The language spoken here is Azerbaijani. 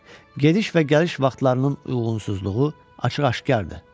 Gediş və gəliş vaxtlarının uyğunsuzluğu açıq-aşqardır.